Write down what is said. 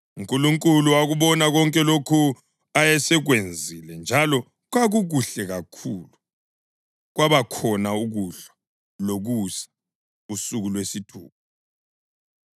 UNkulunkulu wakubona konke lokho ayesekwenzile, njalo kwakukuhle kakhulu. Kwabakhona ukuhlwa lokusa, usuku lwesithupha.